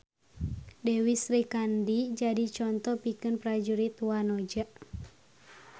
Dewi Srikandi jadi conto pikeun prajurit wanoja.